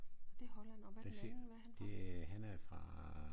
Nåh det er Holland og hvad er den anden hvad er han fra?